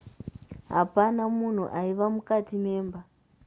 hapana munhu aiva mukati memba